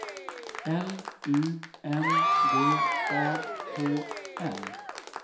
L U N D A H L